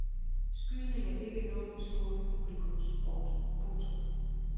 Skydning er ikke nogen stor publikumssport. punktum